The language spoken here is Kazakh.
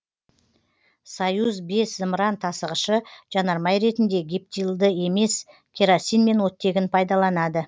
союз бес зымыран тасығышы жанармай ретінде гептилді емес керосин мен оттегін пайдаланады